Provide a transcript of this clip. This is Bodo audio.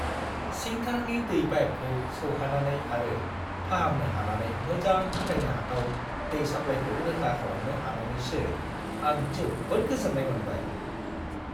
सिंथारनि दै पाइपखौ सौहानानै आरो फाहामनो हानानै मोजां फोथायनो हाथाव दै साप्लायखौ रोखा खालामनो हानानैसो आं जोबोद गोजोन्नाय मोनबाय।